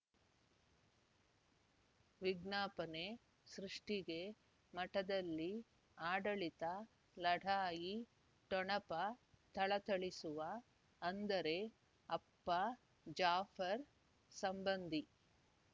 ವಿಜ್ಞಾಪನೆ ಸೃಷ್ಟಿಗೆ ಮಠದಲ್ಲಿ ಆಡಳಿತ ಲಢಾಯಿ ಠೊಣಪ ಥಳಥಳಿಸುವ ಅಂದರೆ ಅಪ್ಪ ಜಾಫರ್ ಸಂಬಂಧಿ